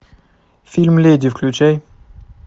фильм леди включай